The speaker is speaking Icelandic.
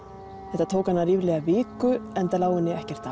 þetta tók hana ríflega viku enda lá henni ekkert